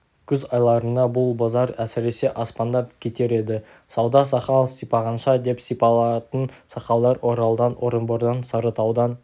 күз айларында бұл базар әсіресе аспандап кетер еді сауда-сақал сипағанша деп сипалатын сақалдар оралдан орынбордан сарытаудан